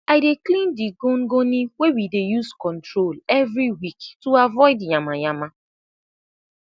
i dey clean de gongoni wey we dey use control everi week to avoid yama yama